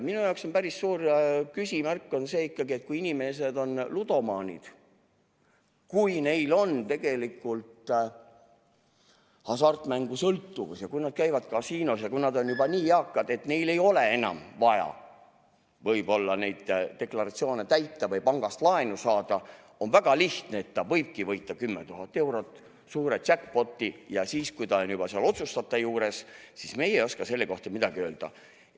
Minu jaoks on päris suur küsimärk see, et kui inimesed on ludomaanid – neil on hasartmängusõltuvus ja nad käivad kasiinos – ja kui nad on juba nii eakad, et neil võib-olla ei ole enam vaja neid deklaratsioone täita või pangast laenu saada, siis on väga lihtne: ta võibki võita 10 000 eurot, suure jackpot'i, ja siis, kui ta on juba seal otsustajate juures, ei oska meie selle kohta midagi öelda.